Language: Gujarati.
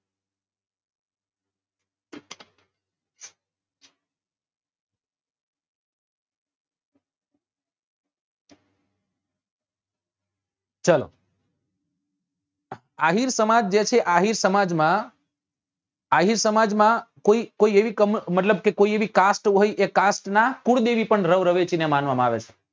ચલો આહીર સમાજ જે છે આહીર સમાજ માં અહીર સમાજ માં કોઈ કોઈ એવું કામ મતલબ કે કોઈ એવી cast હોય જે cast નાં કુળદેવી પણ રવ રવેચી ને માનવા માં આવે છે